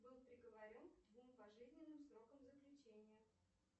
был приговорен к двум пожизненным срокам заключения